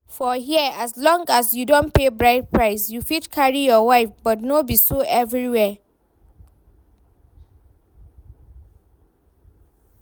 For here, as long as you don pay bride price you fit carry your wife but no be so everywhere